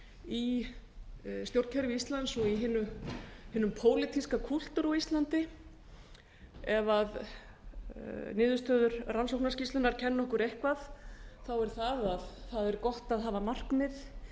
í stjórnkerfi íslands og hinum pólitíska kúltúr á íslandi ef niðurstöður rannsóknarskýrslunnar kenna okkur eitthvað er það að það er gott að hafa markmið